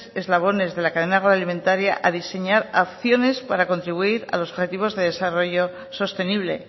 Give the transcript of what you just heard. eslabones de la cadena agroalimentaria a diseñar acciones para contribuir a los objetivos de desarrollo sostenible